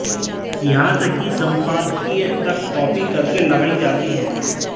यहां तक कि सम्पादकीय तक कॉपी करके लगायी जाती है